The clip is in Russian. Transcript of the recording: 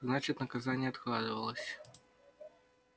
значит наказание откладывалось